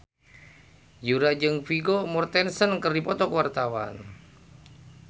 Yura jeung Vigo Mortensen keur dipoto ku wartawan